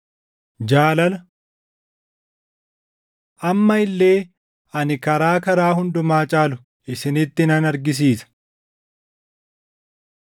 Isin garuu jabeessaatii kennaa caalu barbaadaa. Jaalala Amma illee ani karaa karaa hundumaa caalu isinitti nan argisiisa.